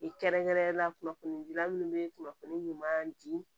kɛrɛnkɛrɛnnenya la kunnafoni gilan munnu bɛ kunnafoni ɲuman di